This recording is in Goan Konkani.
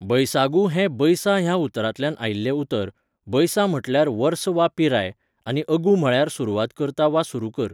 बैसागु हें 'बैसा' ह्या उतरांतल्यान आयिल्लें उतर, 'बैसा' म्हटल्यार वर्स वा पिराय, आनी 'अगू' म्हळ्यार सुरवात करता वा सुरू कर.